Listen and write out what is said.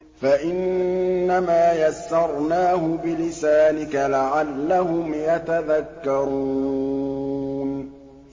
فَإِنَّمَا يَسَّرْنَاهُ بِلِسَانِكَ لَعَلَّهُمْ يَتَذَكَّرُونَ